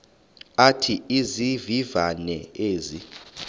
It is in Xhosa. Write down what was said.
athi izivivane ezi